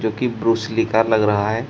जो कि Bruce Lee का लग रहा है।